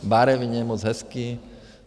Barevně, moc hezký.